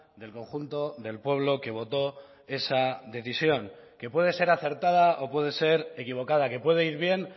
del conjunto del pueblo que votó esa decisión que puede ser acertada o puede ser equivocada que puede ir bien